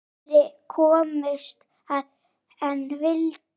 Færri komust að en vildu.